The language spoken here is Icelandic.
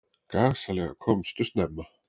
Gasalega komstu snemma.